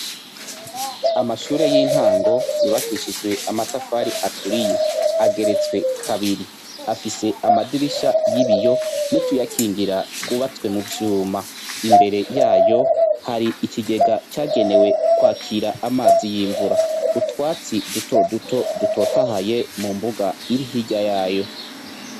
Amashure y'intango yubakishijwe amatafari aturiye, ageretse kabiri afise Amadirisha y'ibiyo, nutuyakingira twubatse muvyuma imbere yayo hari ikigega cagenewe kwakira amazi y'imvura, Utwatsi duto duto dutotahaye mumbuga iri hirya yayo.